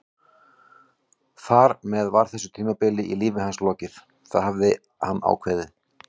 Þar með var þessu tímabili í lífi hans lokið, það hafði hann ákveðið.